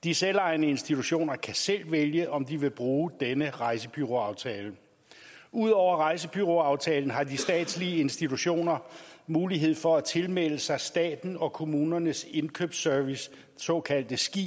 de selvejende institutioner kan selv vælge om de vil bruge denne rejsebureauaftale ud over rejsebureauaftalen har de statslige institutioner mulighed for at tilmelde sig statens og kommunernes indkøbsservice det såkaldte ski